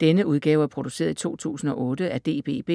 Denne udgave er produceret i 2008 af DBB,